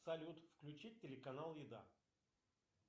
салют включить телеканал еда